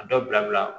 A dɔ bila